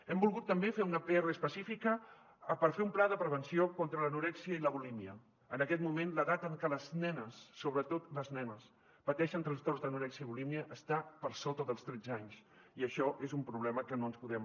hem volgut també fer una pr específica per fer un pla de prevenció contra l’anorèxia i la bulímia en aquest moment l’edat en que les nenes sobretot les nenes pateixen trastorns d’anorèxia i bulímia està per sota dels tretze anys i això és un problema que no ens podem